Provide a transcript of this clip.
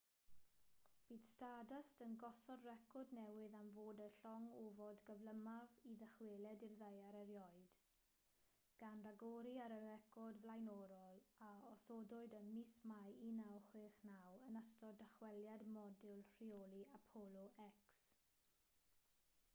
bydd stardust yn gosod record newydd am fod y llong ofod gyflymaf i ddychwelyd i'r ddaear erioed gan ragori ar y record flaenorol a osodwyd ym mis mai 1969 yn ystod dychweliad modiwl rheoli apollo x